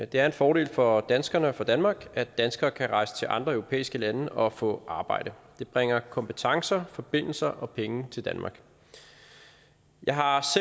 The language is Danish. det er en fordel for danskerne og for danmark at danskere kan rejse til andre europæiske lande og og få arbejde det bringer kompetencer forbindelser og penge til danmark jeg har